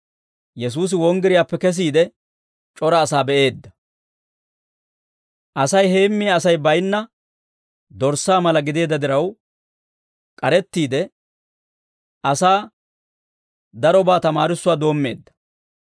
Yesuusi wonggiriyaappe kesiide, c'ora asaa be'eedda; Asay heemmiyaa Asay baynna dorssaa mala gideedda diraw, k'arettiide asaa darobaa tamaarissuwaa doommeedda.